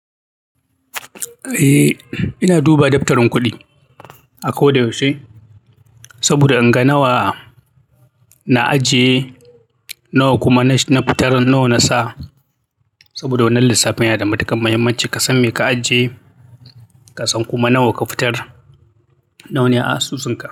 Eh, ina duba daftarin kuɗi a ko da yaushe saboda in ga nawa na ajiye, nawa kuma na fitar, nawa na sa. Saboda wannan lissafin yana da matukar muhimmanci, ka san me ka ajiye, ka san kuma nawa ka fitar, nawa ne a asusunka.